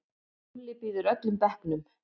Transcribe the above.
Lúlli býður öllum bekknum.